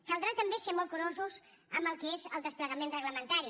caldrà també ser molt curosos amb el que és el desplegament reglamentari